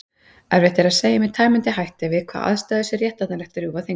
Erfitt er að segja með tæmandi hætti við hvaða aðstæður sé réttlætanlegt að rjúfa þing.